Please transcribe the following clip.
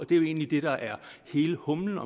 det er jo egentlig det der er hele humlen